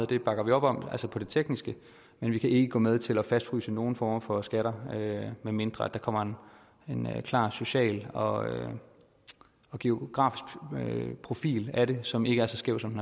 det bakker vi op om altså til det tekniske men vi kan ikke gå med til at fastfryse nogen former for skatter medmindre der kommer en klar social og geografisk profil som ikke er så skæv som